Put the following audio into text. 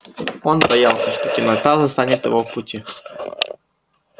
он боялся что темнота застанет его в пути